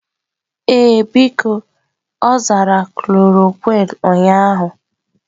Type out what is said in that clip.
Ee, biko, ọ zara klorokwin ụnyahụ.